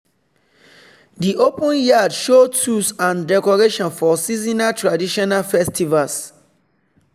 the open yard show tools and decoration for seasonal traditional festivals.